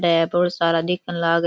है बोला सारा दिखन लागरा।